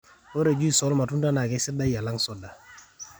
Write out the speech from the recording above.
ore juis olmatunda naa kesidai alang soda